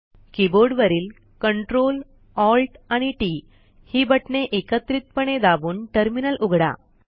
कीबोर्डवरील Ctrl Alt आणि T T ही बटणे एकत्रितपणे दाबून टर्मिनल उघडा